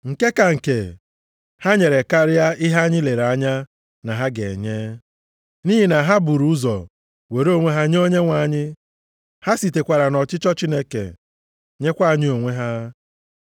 Nke ka nke, ha nyere karịa ihe anyị lere anya na ha ga-enye. Nʼihi na ha buru ụzọ were onwe ha nye Onyenwe anyị. Ha sitekwara nʼọchịchọ Chineke nyekwa anyị onwe ha.